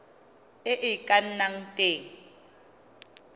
e e ka nnang teng